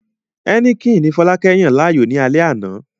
Heineken ni Fọlákẹ́ yàn láàyò ní alẹ́ àná